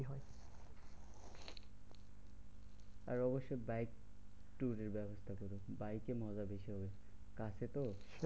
আর অবশ্যই bike tour এর ব্যবস্থা করো। বাইকে মজা বেশি হবে কাছে তো?